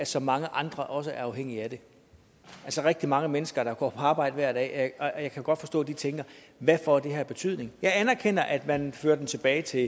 så mange andre også er afhængige af det altså rigtig mange mennesker der går på arbejde hver dag og jeg kan godt forstå at de tænker hvad får det her af betydning jeg anerkender at man vil føre det tilbage til